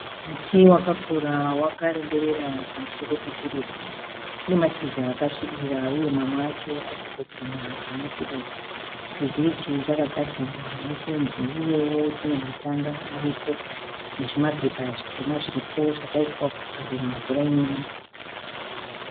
Muti wakakura wakareberera pamusoro pechirugwi, unemashizha akasvibira uye mamwe acho arikutoguma pane chirugwi. Chirugwi ichi chakagadzirwa nefenzi uyewo chine matanda aripo nezvimapepa zvitema zviripo zvakaiswa kuvharira mvura inonaya.